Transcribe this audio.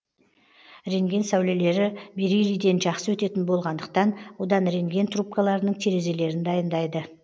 рентген сәулелері бериллийден жақсы өтетін болғандықтан одан рентген трубкаларының терезелерін дайындайды